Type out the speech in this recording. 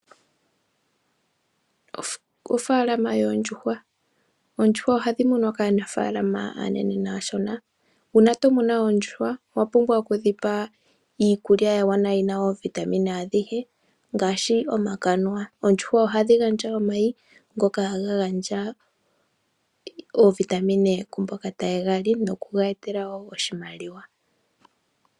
Uunafalama woondjuhwa, oondjuhwa ohadhi munwa kaanafalama aanene naashona, uuna tomunu oondjuhwa owa pumbwa oku dhipa iikulya ya gwana, yina oovitamin adhihe ngaashi omakanuwa. Oondjuhwa ohadhi gandja omayi ngoka haga gandja oovitamin kuumboka ha yegali noku ga yetela wo oshimaliwa.